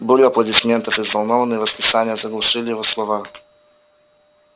буря аплодисментов и взволнованные восклицания заглушили его слова